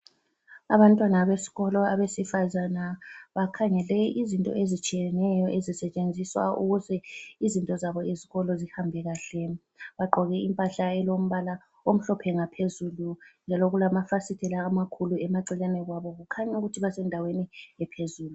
Abantwana besikolo abesifazana bakhangele izinto ezitshiyeneyo ezisetshenziswa ukuze izinto zabo zesikolo zihambe kahle. Bagqoke impahla elombala omhlophe ngaphezulu njalo kulamafasitela amakhulu emaceleni kwabo, kukhanya ukuthi basendaweni ephezulu.